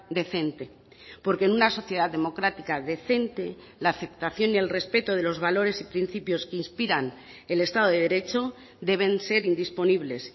decente porque en una sociedad democrática decente la aceptación y el respeto de los valores y principios que inspiran el estado de derecho deben ser indisponibles